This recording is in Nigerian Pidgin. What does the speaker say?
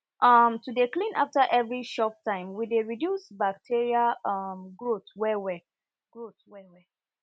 um to dey clean after every chop time e dey reduce bacteria um growth well well growth well well